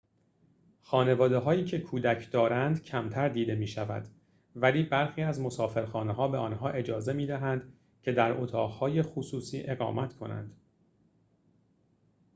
خانواده‌هایی که کودک دارند کمتر دیده می‌شود ولی برخی از مسافرخانه‌ها به آنها اجازه می‌دهند که در اتاق‌های خصوصی اقامت کنند